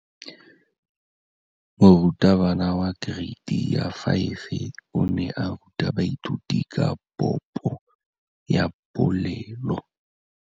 Moratabana wa kereiti ya 5 o ne a ruta baithuti ka popô ya polelô.